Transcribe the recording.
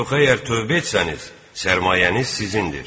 Yox əgər tövbə etsəniz, sərmayəniz sizindir.